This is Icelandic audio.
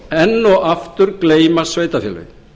sveitarfélögunum enn og aftur gleymast sveitarfélögin